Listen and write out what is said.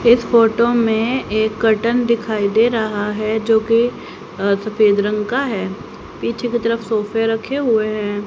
इस फोटो में एक कटन दिखाई दे रहा है जो कि सफेद रंग का है। पीछे की तरफ सोफे रखे हुए है।